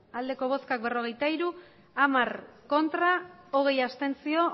hamairu bai berrogeita hiru ez hamar abstentzioak